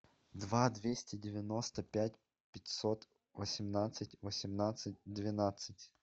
два двести девяносто пять пятьсот восемнадцать восемнадцать двенадцать